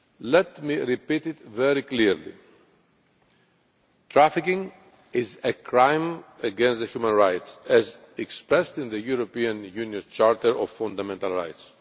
Let me repeat it very clearly trafficking is a crime against human rights as expressed in the European Union's Charter of Fundamental Rights.